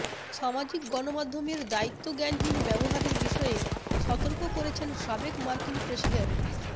সামাজিক গণমাধ্যমের দায়িত্বজ্ঞানহীন ব্যবহারের বিষয়ে সতর্ক করেছেন সাবেক মার্কিন প্রেসিডেন্ট